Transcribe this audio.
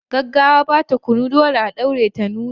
Gaggawa ba ta kunu, dole a ɗaure ta nuna.